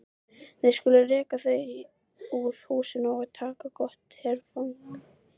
Við skulum reka þau úr húsum og taka gott herfang!